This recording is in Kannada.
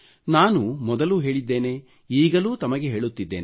ನಾನು ಮೊದಲೂ ಹೇಳಿದ್ದೇನೆ ಈಗಲೂ ತಮಗೆ ಹೇಳುತ್ತಿದ್ದೇನೆ